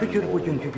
Şükür bugünkü günə.